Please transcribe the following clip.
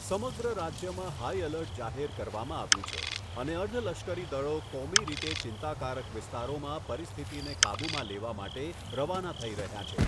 સમગ્ર રાજ્યમાં high alert જાહેર કરવામાં આવ્યું છે અને અર્ધલશ્કરી દળો કોમી રીતે ચિંતાકારક વિસ્તારોમાં પરિસ્થિતિને કાબૂમાં લેવા માટે રવાના થઈ રહ્યાં છે.